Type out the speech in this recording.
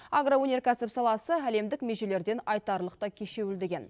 агроөнеркәсіп саласы әлемдік межелерден айтарлықтай кешеуілдеген